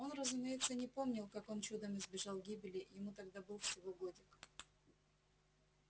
он разумеется не помнил как он чудом избежал гибели ему тогда был всего годик